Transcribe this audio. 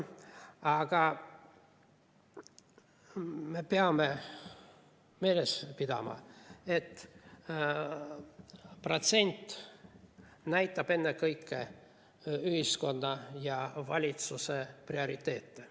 Aga me peame meeles pidama, et protsent näitab ennekõike ühiskonna ja valitsuse prioriteete.